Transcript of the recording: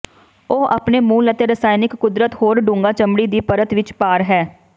ਉਹ ਆਪਣੇ ਮੂਲ ਅਤੇ ਰਸਾਇਣਕ ਕੁਦਰਤ ਹੋਰ ਡੂੰਘਾ ਚਮੜੀ ਦੀ ਪਰਤ ਵਿੱਚ ਪਾਰ ਹੈ